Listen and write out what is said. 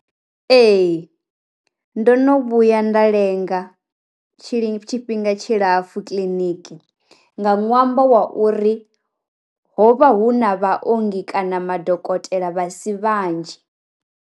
Ee, ndo no vhuya nda lenga tshiḽipi tshifhinga tshi lapfu kiḽiniki nga ṅwambo wa uri hovha hu na vha ongi kana madokotela vhasi vhanzhi.